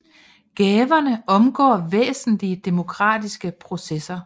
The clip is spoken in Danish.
At gaverne omgår væsentlige demokratiske processer